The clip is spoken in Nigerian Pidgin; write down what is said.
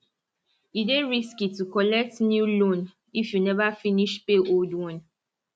e dey risky to collect new loan if you never finish pay old one